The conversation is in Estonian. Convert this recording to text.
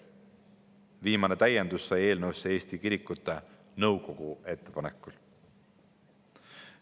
Viimane täiendus sai eelnõusse Eesti Kirikute Nõukogu ettepanekul.